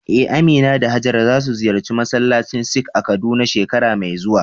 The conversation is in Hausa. Eh, Amina da Hajara za su ziyarci masallacin Sikh a Kaduna shekara mai zuwa.